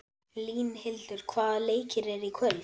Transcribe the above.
Línhildur, hvaða leikir eru í kvöld?